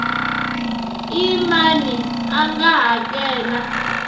i mani a nga hakela